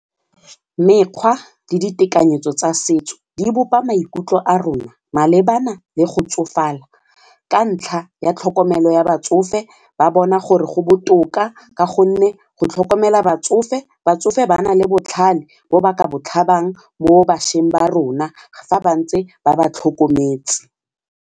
Mekgwa le ditekanyetso tsa setso di bopa maikutlo a rona malebana le go tsofala ka ntlha ya tlhokomelo ya batsofe ba bona gore go botoka ka gonne go tlhokomela batsofe batsofe ba nale botlhale bo ba ka bo tlhabang mo bašweng ba rona fa ba ntse ba ba tlhokometse.